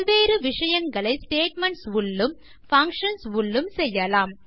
பல் வேறு விஷயங்களை ஸ்டேட்மென்ட்ஸ் உள்ளும் பங்ஷன்ஸ் உள்ளும் செய்யலாம்